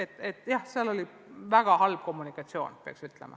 Nii et jah, ma pean ütlema, et kommunikatsioon oli väga halb.